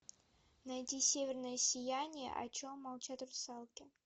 найди северное сияние о чем молчат русалки